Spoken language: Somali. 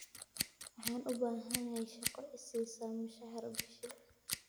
Waxaan u baahanahay shaqo i siisa mushahar bishii.